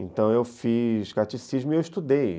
Então eu fiz catecismo e eu estudei.